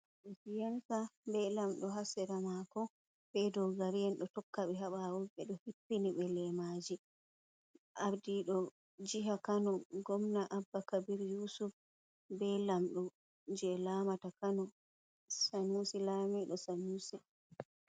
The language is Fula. Siyasa be Lamdo hasiramako. Be ɗogariyen do tokkabe ha baw. Bedo hippini be lemaji ardido jiha kano, gomna abba kabir yusuf be lamdo je lamata kano sanusi lamido sanusi.